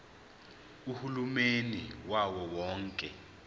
uhulumeni wawo wonke